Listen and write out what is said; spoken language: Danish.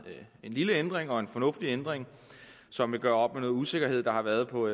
lille ændring og en fornuftig ændring som vil gøre op med noget usikkerhed der har været på